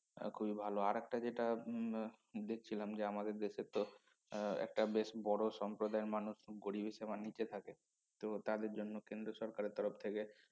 খুবই ভালো আরেকটা যেটা উম দেখছিলাম যে আমাদের দেশের তো আহ একটা বেশ বড় সম্প্রদায়ের মানুষ গরীবের সীমার নিচে থাকে তো তাদের জন্য কেন্দ্র সরকারের তরফ থেকে